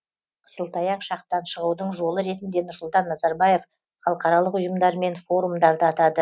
қысылтаяқ шақтан шығудың жолы ретінде нұрсұлтан назарбаев халықаралық ұйымдар мен форумдарды атады